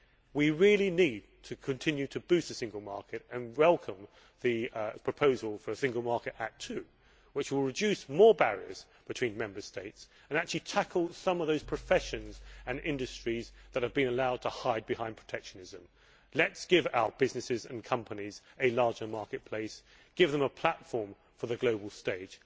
We really need to continue to boost the single market and welcome the proposal for a Single Market Act II, which would reduce more barriers between Member States and actually tackle some of those professions and industries which have been allowed to hide behind protectionism. Let us give our businesses and companies a larger marketplace, give them a platform for the global stage